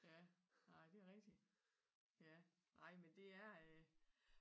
Ja nej det rigtigt ja nej men det er øh